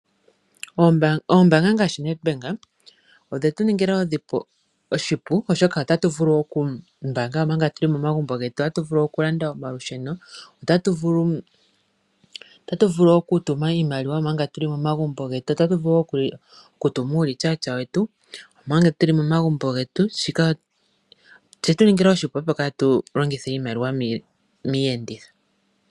Oombanga ngaashi Nedbank odhe shitu ningala oshipu, oshoka otatu vulu oku mbaanga omanga tuli momagumbo getu, otatu vulu oku landa omalusheno , otatu vulu oku tuma iimaliwa omanga tuli momagumbo getu, Otatu vulu okutuma uurichaacha wetu omanga tuli momagumbo getu. Shika oshetu ningila oshipu opo kaatulongithe iimaliwa miiyenditho.